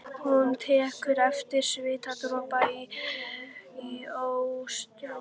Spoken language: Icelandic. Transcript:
Hún tekur eftir svitadropa í óstinni.